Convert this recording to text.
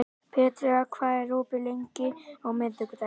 Petrea, hvað er opið lengi á miðvikudaginn?